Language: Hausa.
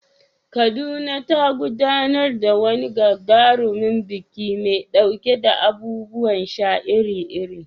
Kaduna ta gudanar da wani gagarumin biki mai ɗauke da abubuwan sha iri-iri.